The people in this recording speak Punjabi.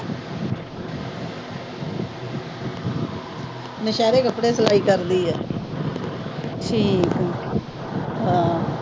ਦੁਸ਼ਹਰੇ ਕੱਪੜੇ ਸਲਾਈ ਕਰਦੀ ਆ।